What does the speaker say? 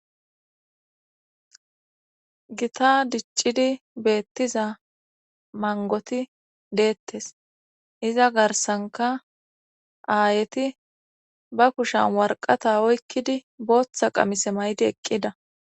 gita diccidi beettiza mangoti deettes iza garsanka aayeti ba kushan warqata oykkidi booththa qamise maydi eqqida